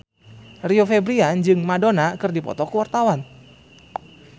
Rio Febrian jeung Madonna keur dipoto ku wartawan